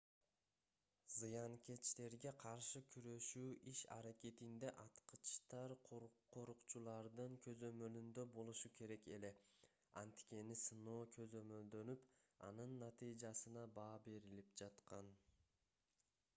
зыянкечтерге каршы күрөшүү иш-аракетинде аткычтар корукчулардын көзөмөлүндө болушу керек эле анткени сыноо көзөмөлдөнүп анын натыйжасына баа берилип жаткан